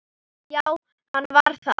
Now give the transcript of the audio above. Já, hann var það.